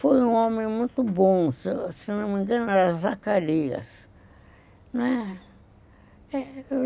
Foi um homem muito bom, se não me engano, era Zacarias, não é?